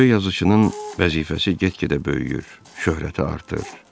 Böyük yazıçının vəzifəsi get-gedə böyüyür, şöhrəti artır.